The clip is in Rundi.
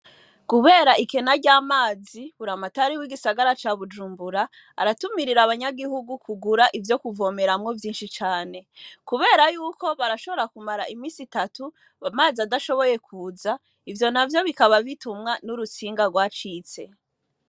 Kubera ikena ry'amazi, buramatari w'igisagara ca Bujumbura , aratumirira abanyagihugu kugura ivyo kuvomeramwo vyinshi cane, kubera y'uko barashobora kumara iminsi itatu amazi adashoboye kuza, ivyo navyo bikaba bitumwa n'urutsinga rwacitse.